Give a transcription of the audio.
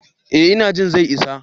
Eh ina jin zai isa.